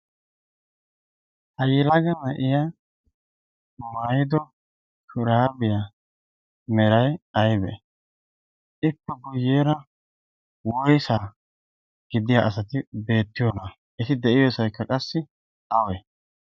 ha yilaga ma7iya maido kiraabiyaa merai aibe7e? ippe guyyeera woisaa giddiya asati beettiyoona7aa? eti de7iyoosaikka qassi aawai?